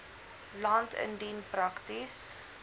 land indien prakties